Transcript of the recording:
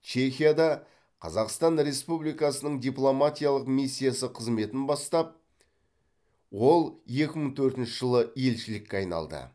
чехияда қазақстан республикасының дипломатиялық миссиясы қызметін бастап ол екі мың төртінші жылы елшілікке айналды